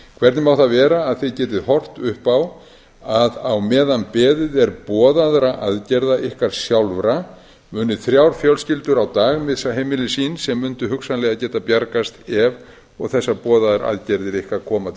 hvernig má það vera að þið getið horft upp á að á meðan beðið er boðaðra aðgerða ykkar sjálfra muni þrjár fjölskyldur á dag missa heimili sín sem mundu hugsanlega geta bjargast ef og þessar boðaðar aðgerðir ykkar koma til